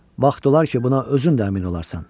Vaxt olar ki, buna özün də əmin olarsan.